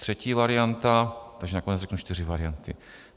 Třetí varianta - takže nakonec řeknu čtyři varianty.